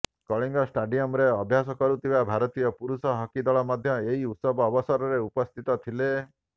କଳିଙ୍ଗ ଷ୍ଟାଡିୟମ୍ରେ ଅଭ୍ୟାସ କରୁଥିବା ଭାରତୀୟ ପୁରୁଷ ହକି ଦଳ ମଧ୍ୟ ଏହି ଉତ୍ସବ ଅବସରରେ ଉପସ୍ଥିତ ଥିଲେ